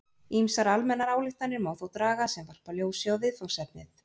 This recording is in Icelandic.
Ýmsar almennar ályktanir má þó draga sem varpa ljósi á viðfangsefnið.